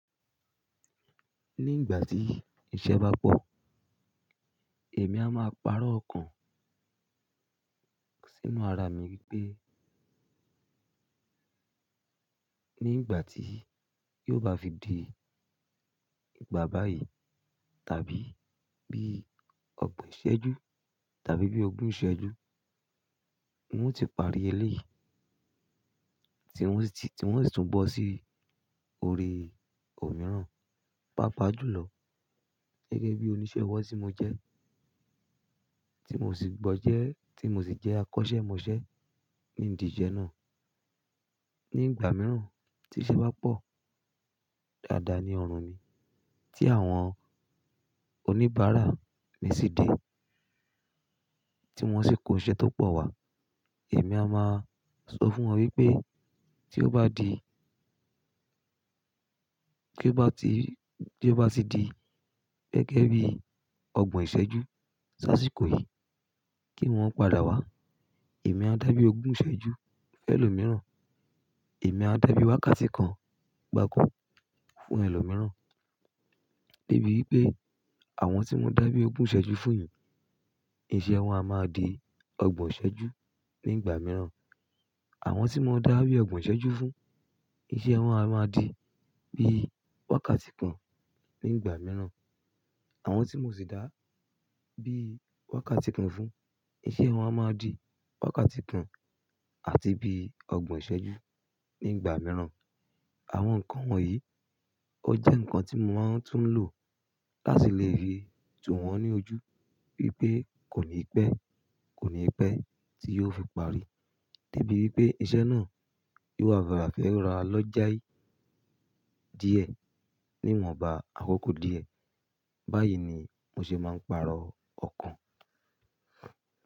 Ní ìgbà tí iṣẹ́ bá pọ̀, èmi a máa parọ́ ọkàn sínú ara mi wípé, ní ìgbà tí yóò bá fi di ìgbà báyìí, tàbí bí ọgbọ̀n ìṣẹ́jú tàbí bí ogún ìṣẹ́jú, ng o ti parí eléyìí tí ngmo sì, tí ng o sì tún bọ́ sí orí òmíràn. Pápa jù lọ gẹ́gẹ́ bí oníṣẹ́ ọwọ́ tí mo jẹ́, tí mo sì gbọ́ jẹ́, tí mo sì jẹ́ akọ́ṣẹ́mọṣẹ́ ní ìdí iṣẹ́ náà. Ní ìgbà mìíràn tí iṣẹ́ bá pọ̀, dáadáa ni ọrùn ni tí àwọn oníbàárà mi ṣì dé, tí wọ́n sì kó iṣẹ́ tó pọ̀ wá. Èmi a máa sọ fún wọn wípé tí ó bá di, kí ó bá ti, kí ó bá ti di gẹ́gẹ́ bí ọgbọ̀n ìṣẹ́jú sáàsì kò yìí kí wọ́n padà wá. Èmi á dá bí ogún ìṣẹ́jú fẹ́ lo mìíràn, èmi á dá bí wákàtí kan gbáko fún ẹlòmíràn. Débi wípé àwọn tí mò ń dá bí ogún ìṣẹ́jú fún yìí, iṣẹ́ wọn a máa di ọgbọ̀n ìṣẹ́jú ní ìgbà mìíràn. Àwọn tí mò ń dá bí ọgbọ́n ìṣẹ́jú fún, iṣẹ́ wọn a máa di bí wákàtí kan ní ìgbà mìíràn. Àwọn tí mò sì dá bí wákàtí kan fún, iṣẹ́ wọn a máa di wákàtí kan àti bí ọgbọ̀n ìṣẹ́jú ní ìgbà mìíràn. Àwọn nǹkan wọ̀nyí ó jẹ́ nǹkan tí mo máa ń tún lò láti lè rí ìtùwọ̀n ní ojú wípé kò ní pẹ́, kò ní pẹ́ tí yóò fi parí. Débi wípé iṣẹ́ náà yóò ha fi rà á lọ́jà yìí díẹ̀ níwọ̀nba àkókò díẹ̀. Báyìí ni mo ṣe máa ń pàrọ̀ ọkàn.